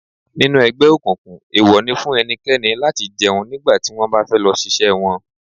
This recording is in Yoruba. Nínú ẹgbẹ́ òkùnkùn, ewo ni fún ẹnikẹ́ni láti jẹun nígbà tí wọ́n fẹ́ lọ ṣiṣẹ́ wọn.